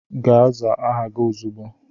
Gaa zaa aha gị ozugbo!